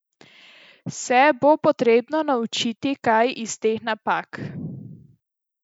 Se bo potrebno naučiti kaj iz teh napak.